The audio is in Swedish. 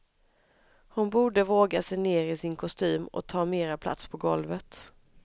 Hon borde våga sig ner i sin kostym och ta mera plats på golvet.